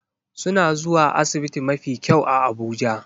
Suna zuwa asibiti mafi kyau a Abuja